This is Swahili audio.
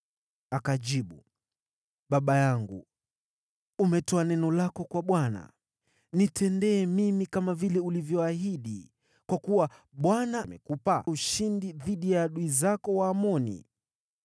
Akajibu, “Baba yangu, umetoa neno lako kwa Bwana . Nitendee mimi kama vile ulivyoahidi, kwa kuwa Bwana amekupa ushindi dhidi ya adui zako Waamoni.”